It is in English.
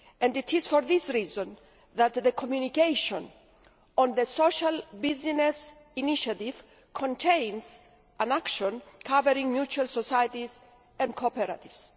It is for this reason that the communication on the social business initiative contains an action covering mutual societies and cooperatives.